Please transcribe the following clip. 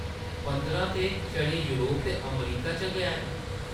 पंदरा ते छड़े योरप ते अमरीका च गै न ।